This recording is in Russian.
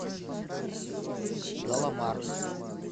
галамарт